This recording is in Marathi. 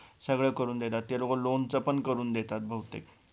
सगळं करून देतात ते लोकं loan च पण करून देतात बहुतेक